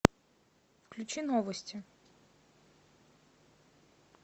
включи новости